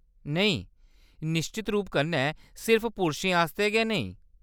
नेईं, निश्चत रूप कन्नै सिर्फ पुरशें आस्तै गै नेईं।